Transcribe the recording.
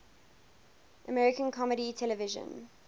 american comedy television